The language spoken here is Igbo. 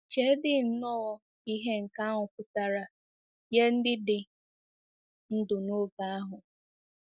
Cheedị nnọọ ihe nke ahụ pụtara nye ndị dị ndụ n'oge ahụ!